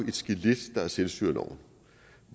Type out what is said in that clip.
et skelet der er selvstyreloven